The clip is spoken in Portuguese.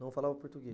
Não falava